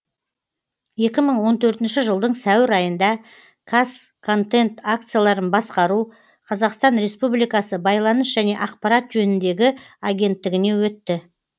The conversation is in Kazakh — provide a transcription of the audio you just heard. екі мың он төртінші жылдың сәуір айында казконтент акцияларын басқару қазақстан республикасы байланыс және ақпарат жөніндегі агенттігіне өтті